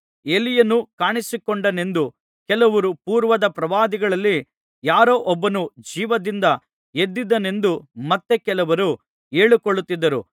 ಎಲೀಯನು ಕಾಣಿಸಿಕೊಂಡನೆಂದು ಕೆಲವರೂ ಪೂರ್ವದ ಪ್ರವಾದಿಗಳಲ್ಲಿ ಯಾರೋ ಒಬ್ಬನು ಜೀವದಿಂದ ಎದ್ದಿದ್ದಾನೆಂದು ಮತ್ತೆ ಕೆಲವರೂ ಹೇಳಿಕೊಳ್ಳುತ್ತಿದ್ದರು